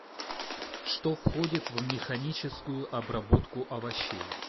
что входит в механическую обработку овощей